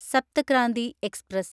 Saptah Kranti express